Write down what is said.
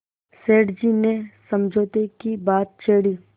सेठ जी ने समझौते की बात छेड़ी